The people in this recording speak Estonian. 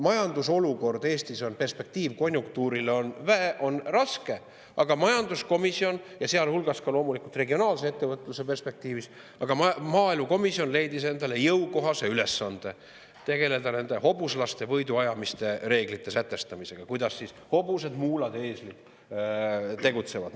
Majandusolukord Eestis on, nagu on, konjunktuuri perspektiiv on, sealhulgas loomulikult regionaalse ettevõtluse perspektiivis, aga maaelukomisjon leidis endale jõukohase ülesande: tegelda hobuslaste võiduajamiste reeglite sätestamisega, kuidas hobused, muulad ja eeslid tegutsevad.